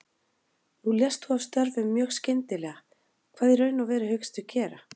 Nú lést þú af störfum mjög skyndilega, hvað í raun og veru hyggstu gera?